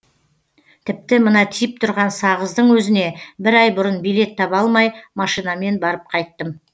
тіпті мына тиіп тұрған сағыздың өзіне бір ай бұрын билет таба алмай машинамен барып қайттым